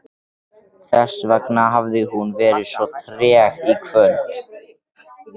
Þessvegna hafði hún verið svo treg í kvöld.